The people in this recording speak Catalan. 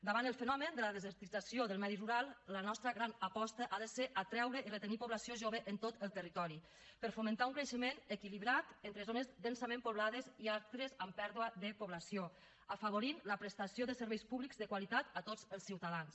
davant del fenomen de la desertització del medi rural la nostra gran aposta ha de ser atreure i retenir població jove en tot el territori per fomentar un creixement equilibrat entre zones densament poblades i altres amb pèrdua de població i afavorir la prestació de serveis públics de qualitat a tots els ciutadans